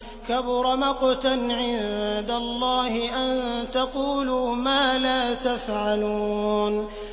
كَبُرَ مَقْتًا عِندَ اللَّهِ أَن تَقُولُوا مَا لَا تَفْعَلُونَ